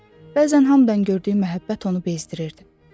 Bəzən hamdan gördüyü məhəbbət onu bezdirirdi.